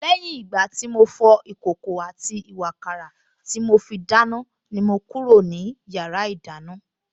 Lẹ́yìn ìgbà tí mo fọ ìkòkò àti ìwààkàrà tí mo fi dáná ni mo kúrò ní yàrá ìdáná